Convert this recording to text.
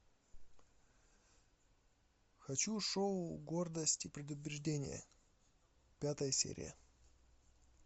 хочу шоу гордость и предубеждение пятая серия